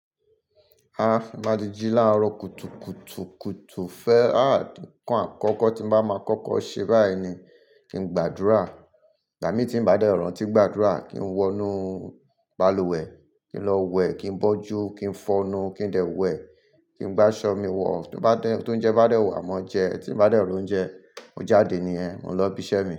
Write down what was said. A máa dejí láàárọ̀ kùtùkùtù kùtù fẹ́ a a nkàn àkọ́kọ́ tí bá máa kọ́kọ́ ṣe báyìí ni kí n gbàdúrà. Ìgbà mí tí ń bá dẹ̀ rantí gbàdúrà, kí n wọnú balùwẹ̀, kí n lọ wẹ̀, kí n bọ́jú, kí n fọnu, kí ń dẹ̀ wẹ̀, kí ń gbá ṣọ́ mi wọ̀. Tó bá dẹ́, tóunjẹ bá dẹ̀ wà maa jẹ, tí ń bá dẹ̀ òórùn jẹ, mó jáde nìyẹn, mò ń lọ bísẹ́ mi.